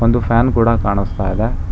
ಒಂದು ಫ್ಯಾನ್ ಕೂಡ ಕಾಣಸ್ತಾ ಇದೆ.